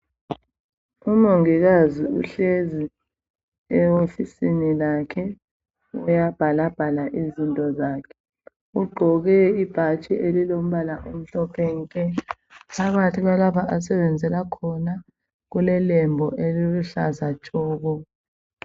Umongikazi uhlezi ewofisini lakhe. Uyabhalabhala izinto zakhe. Ugqoke ibhatshi elilombala omhlophe nke. Phakathi kwalapha asebenzela khona kulelembu eliluhlaza tshoko.